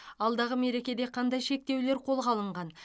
алдағы мерекеде қандай шектеулер қолға алынған